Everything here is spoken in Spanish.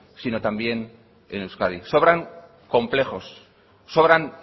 sino también en euskadi sobran complejos sobran